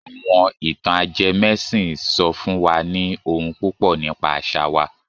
Àwọn ìtàn ajẹmẹ́sìn sọ fún wa ní ohun púpọ̀ nípa àṣà wa.